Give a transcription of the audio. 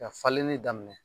Ka falenni daminɛ